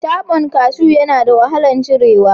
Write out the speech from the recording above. Tabon kashu yana da wahalar cirewa